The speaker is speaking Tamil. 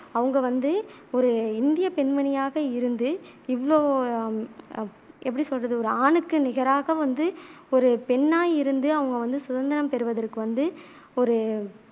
அவங்க வந்து ஒரு இந்திய பெண்மணியாக இருந்து இவ்ளோ எப்படி சொல்றது ஒரு ஆணுக்கு நிகராக வந்து ஒரு பெண்ணா இருந்து அவங்க வந்து சுதந்திரம் பெறுவதற்கு வந்து ஒரு